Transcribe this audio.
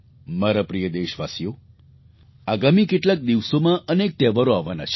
મારા પ્રિય દેશવાસીઓ આગામી કેટલાક દિવસોમાં અનેક તહેવારો આવવાના છે